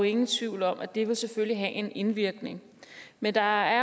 ingen tvivl om at det selvfølgelig vil have en indvirkning men der